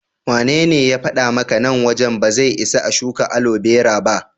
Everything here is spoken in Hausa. Wanene ya faɗa maka nan wajen ba zai isa a shuka alobera ba?